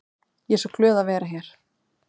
Ég er svo glöð að vera hér.